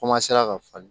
ka falen